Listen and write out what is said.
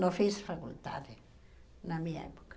Não fiz faculdade na minha época.